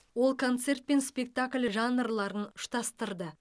ол концерт пен спектакль жанрларын ұштастырды